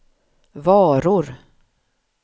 varor